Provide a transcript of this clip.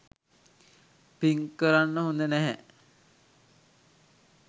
පින් කරන්න හොඳ නැහැ.